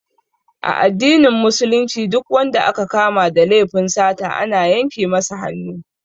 A addinin Musulunci Duk wanda aka kama da laifin sata ana yanke masa hannu